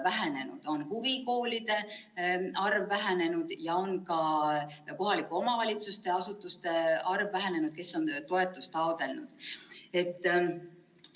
Vähenenud on nii huvikoolide arv kui ka kohalike omavalitsuste asutuste arv, kes on toetust taotlenud.